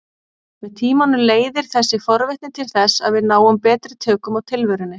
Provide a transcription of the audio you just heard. Með tímanum leiðir þessi forvitni til þess að við náum betri tökum á tilverunni.